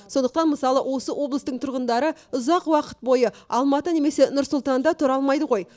сондықтан мысалы осы облыстың тұрғындары ұзақ уақыт бойы алматы немесе нұр сұлтанда тұра алмайды ғой